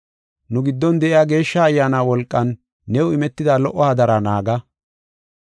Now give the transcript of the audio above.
Nu giddon de7iya Geeshsha Ayyaana wolqan new imetida lo77o hadara naaga.